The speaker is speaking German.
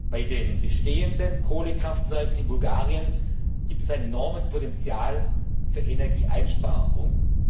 Bei den bestehenden Kohlekraftwerken in Bulgarien gibt es ein enormes Potential für Energieeinsparungen.